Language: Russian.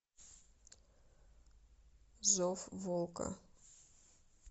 зов волка